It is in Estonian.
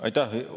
Aitäh!